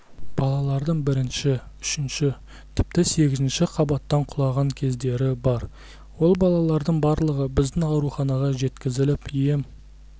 балалардың бірінші үшінші тіпті сегізінші қабаттан құлаған кездері бар ол балалардың барлығы біздің ауруханаға жеткізіліп ем